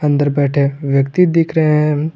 इधर बैठे व्यक्ति दिख रहे हैं।